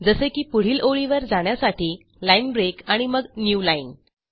जसे की पुढील ओळीवर जाण्यासाठी ल्टब्रग्ट आणि मग न्यू लाईन